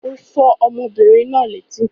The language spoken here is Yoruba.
Ó fọ́ ọmọbìnrin náà létí.